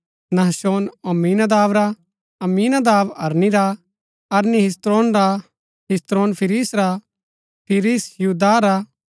नहशोन अम्मीनादाब रा अम्मीनादाब अरनी रा अरनी हिस्रोन रा हिस्रोन फिरिस रा फिरिस यहूदाह रा